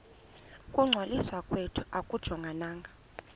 ukungcwaliswa kwethu akujongananga